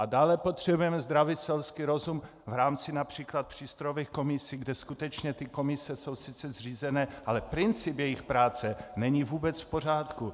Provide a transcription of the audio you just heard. A dále potřebujeme zdravý selský rozum v rámci například přístrojových komisí, kde skutečně ty komise jsou sice zřízeny, ale princip jejich práce není vůbec v pořádku.